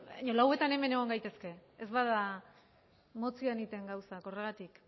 lauretan hemen egon gaitezke ez bada motzean egiten gauzak horregatik